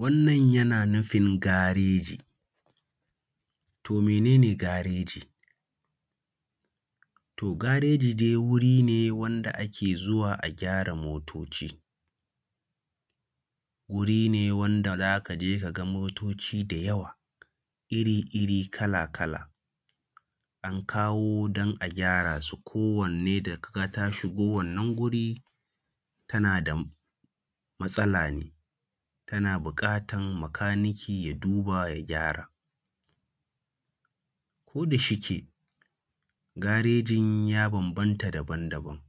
Wannan yana nufin gareji. To mene ne gareji? To gareji dai wuri ne wanda ake zuwa a gyara motoci, wurin ne wanda za ka je ka ga motoci da yawa iri-iri, kala-kala, an kawo don a gyara su, ko wanne da ka ga ta shigo wannan wuri tana da matsala ne, tana buƙatan makaniki ya duba ya gyara. Ko da shike, garejin ya bambanta daban-daban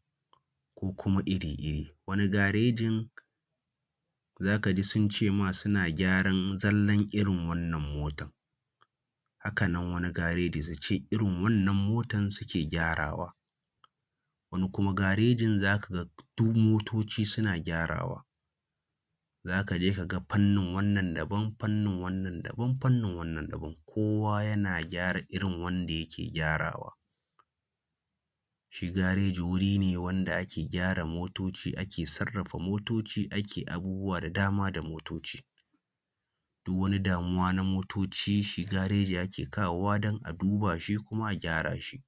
ko kuma iri-iri, wani garejin, wani garejin za ka ji sun ce ma suna gyaran zallan irin wannan motan. Haka nan wani garejin su ce irin wannan motan suke gyara wa. Wani kuma garejin za ka ga duk motoci suna gyarawa, za ka je ka ga fanni wannan daban, fannin wannan daban, fannin wannan daban, kowo yana gyara irin wanda yake gyarawa. Shi gareji wuri ne wanda ake gyara motoci ake sarrafa motoci ake abubuwa da dama da motoci. Duk wani damuwa na motoci, shi gareji ake kawo wa don a duba shi kuma a gyara shi,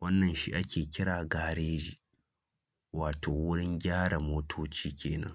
wannan shi ake kira gareji, wato wurin gyara motoci kenan.